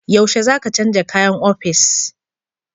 Yaushe za ka canja kayan ofis?